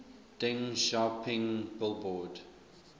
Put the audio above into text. deng xiaoping billboard